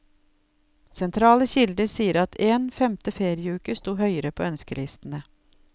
Sentrale kilder sier at en femte ferieuke sto høyere på ønskelistene.